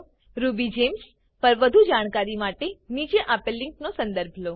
RubyGems પર વધુ જાણકારી માટે નીચે આપેલ લીંક નો સંદર્ભ લો